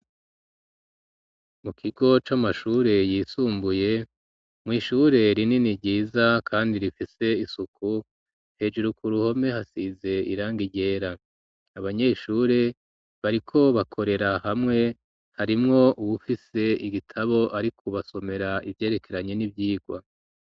Mu kigo c'amashure yisumbuye mw'ishure rinini ryiza kandi rifise isuku hejuru ku ruhome hasize irangi ryera, abanyeshure bariko bakorera hamwe harimwo uwufise igitabo bariko basomera ivyerekeranye n'ivyigwa.